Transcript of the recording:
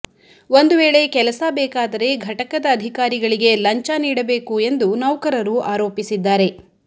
ಒಂದು ವೇಳೆ ಕೆಲಸ ಬೇಕಾದರೆ ಘಟಕದ ಅಧಿಕಾರಿಗಳಿಗೆ ಲಂಚ ನೀಡಬೇಕು ಎಂದು ನೌಕರರು ಆರೋಪಿಸಿದ್ದಾರೆ